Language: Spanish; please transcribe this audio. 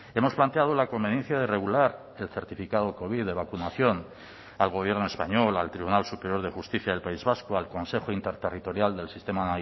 hemos planteado la conveniencia de regular el certificado covid de vacunación al gobierno español al tribunal superior de justicia del país vasco al consejo interterritorial del sistema